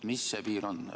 Mis see piir on?